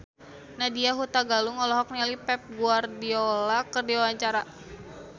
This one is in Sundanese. Nadya Hutagalung olohok ningali Pep Guardiola keur diwawancara